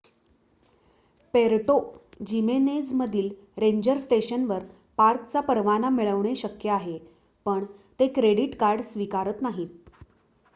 Puerto जिमेनेझमधील ranger स्टेशनवर पार्कचा परवाना मिळवणे शक्य आहे पण ते क्रेडीट कार्ड स्वीकारत नाहीत